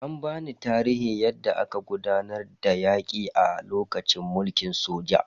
An bani tarihin yadda aka gudanar da yaki a lokacin mulkin soja.